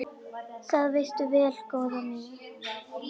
Það veistu vel, góða mín.